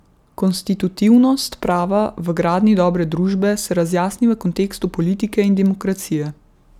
Konstitutivnost prava v gradnji dobre družbe se razjasni v kontekstu politike in demokracije.